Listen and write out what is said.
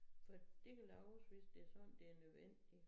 For det kan laves hvis det sådan det er nødvendigt